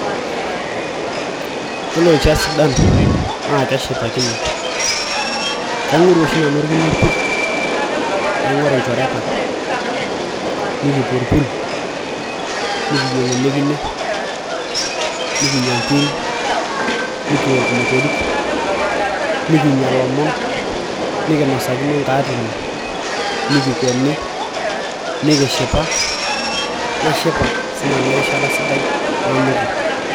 Iyiolo irishat sidan naa keshipakinoi kaing'oru oshi nanu orkine opir naing'oru ilchoreta nikipuo orpul nikiyieng ele kine nikinyia inkiri nikiok imotorik nikinyia ilomon nikinosakino inkaatini nikikweni nikishipa nashipa siinanu erishata sidai nanoto.